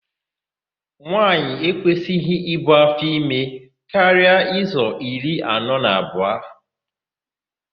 Nwaanyị ekwesịghị ibu áfọime karịa izu iri anọ na abụọ.